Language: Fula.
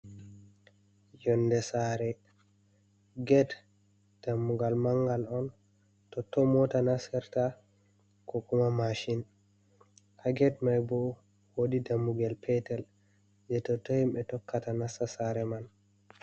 Yonde sare ged dammugal mangal on totton mota nassirta ko kuma mashin. Haa ged mai bo wodi dammugel petel je totton himɓe tokkata nasta sare man.